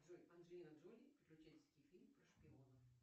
джой анджелина джоли приключенческий фильм про шпионов